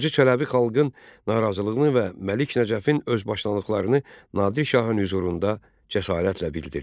Hacı Çələbi xalqın narazılığını və Məlik Nəcəfin özbaşınalıqlarını Nadir şahın hüzurunda cəsarətlə bildirdi.